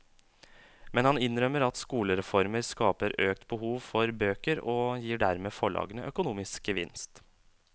Men han innrømmer at skolereformer skaper økt behov for bøker og gir dermed forlagene økonomisk gevinst.